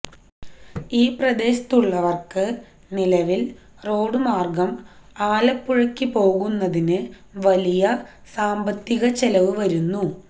ഈ പ്രദേശത്തുള്ളവര്ക്കു നിലവില് റോഡുമാര്ഗം ആലപ്പുഴയ്ക്കു പോകുന്നതിനു വലിയ സാമ്പത്തികച്ചെലവ് വരുന്നു